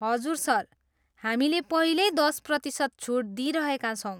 हजुर, सर। हामीले पहिल्यै दस प्रतिशत छुट दिइरहेका छौँ।